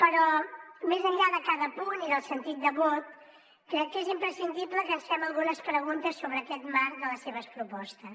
però més enllà de cada punt i del sentit de vot crec que és imprescindible que ens fem algunes preguntes sobre aquest marc de les seves propostes